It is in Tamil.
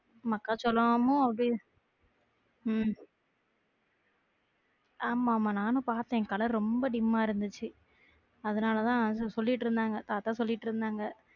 மக்காச்சோளமும் அப்படி உம் ஆமா ஆமா நானும் பாத்தேன் color ரொம்ப dim ஆ இருந்துச்சு அதனாலதான்னு சொல்லிட்டு இருந்தாங்க, தாத்தா சொல்லிட்டு இருந்தாங்க